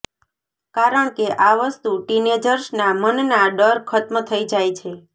કારણ કે આ વસ્તુ ટીનેજર્સના મનના ડર ખ્ત્મ થઈ જાય છે